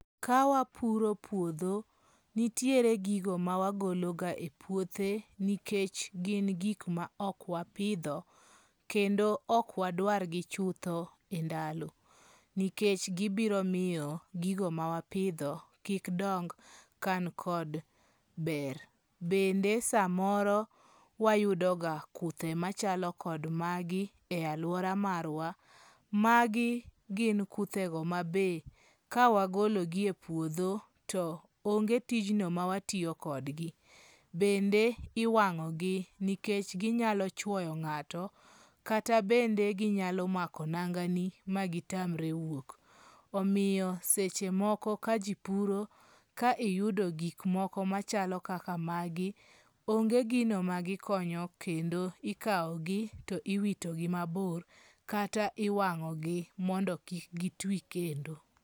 Ka wapuro puodho nitie gigo ma wagolo ka e puothe nikech gin gik ma ok wapidho kendo ok wadwar gi chutho e ndalo , nikech gibiro miyo gigo ma wapidho kik dong kan kod ber. . Bende samoro wayudo ka kuthe machalo kod magi e aluora marwa. Magi gin kuthego ma be kawa golo gi e puodho to onge tijno ma watiyo kodgi. Bende iwang'ogi nikech ginyalo chuoyo ng'ato kata bende ginyalo mako nanga ni ma gitamre wuok. Omiyo seche moko ka jii puro ka iyudo gik moko machalo kaka magi onge gino ma gikonyo kendo ikawo gi to iwito gi mabor kata iwang'o gi mondo kik gitwi kendo .